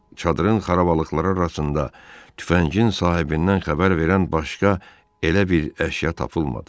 Çadırın xarabalıqları arasında tüfəngin sahibindən xəbər verən başqa elə bir əşya tapılmadı.